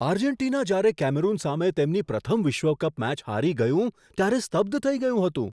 Argentina જ્યારે Cameroon સામે તેમની પ્રથમ વિશ્વ કપ મેચ હારી ગયું, ત્યારે સ્તબ્ધ થઈ ગયું હતું.